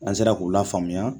An sera k'u lafaamuya